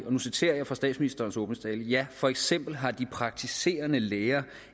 og nu citerer jeg fra statsministerens åbningstale ja for eksempel har de praktiserende læger